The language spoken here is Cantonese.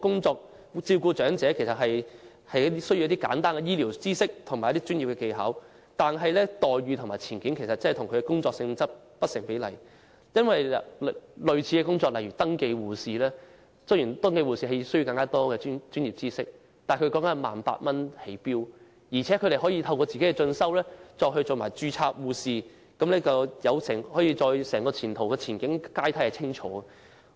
照顧長者其實需要簡單的醫療知識和職業技巧，但員工的待遇和前景與其工作性質不成比例，因為類似的工作例如登記護士雖然要求更多專業知識，但登記護士的起薪點為 18,000 元，而且可以在進修後成為註冊護士，前景和晉升階梯都十分清楚。